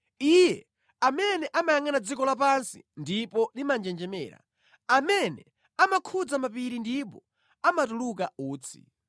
Iye amene amayangʼana dziko lapansi ndipo limanjenjemera, amene amakhudza mapiri ndipo amatuluka utsi.